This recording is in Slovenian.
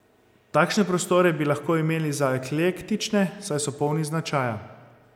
Takšne prostore bi lahko imeli za eklektične, saj so polni značaja.